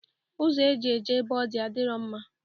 Ụzọ eji eje ebe ọ dị adirọ mma